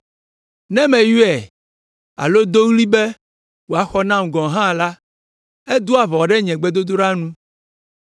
Ne meyɔe alo do ɣli be wòaxɔ nam gɔ̃ hã la, edoa ʋɔ ɖe nye gbedodoɖa nu.